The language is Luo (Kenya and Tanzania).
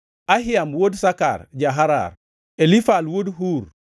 Ahiam wuod Sakar ja-Harar, Elifal wuod Ur,